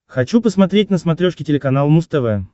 хочу посмотреть на смотрешке телеканал муз тв